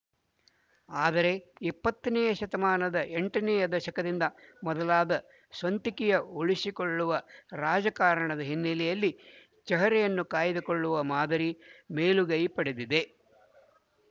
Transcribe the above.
ಆದರೆ ಇಪ್ಪತ್ತನೆಯ ಶತಮಾನದ ಎಂಟನೆಯ ದಶಕದಿಂದ ಮೊದಲಾದ ಸ್ವಂತಿಕೆಯ ಉಳಿಸಿಕೊಳ್ಳುವ ರಾಜಕಾರಣದ ಹಿನ್ನೆಲೆಯಲ್ಲಿ ಚಹರೆಯನ್ನು ಕಾಯ್ದುಕೊಳ್ಳುವ ಮಾದರಿ ಮೇಲುಗೈ ಪಡೆದಿದೆ